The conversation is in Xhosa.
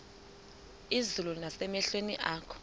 izulu nasemehlweni akho